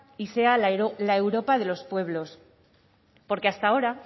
y sea la europa de los pueblos porque hasta ahora